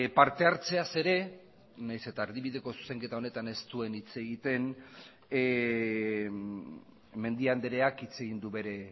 partehartzeaz ere nahiz eta erdibideko zuzenketa honetan ez duen hitz egiten mendia andreak hitz egin du bere